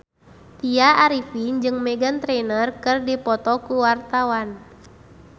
Tya Arifin jeung Meghan Trainor keur dipoto ku wartawan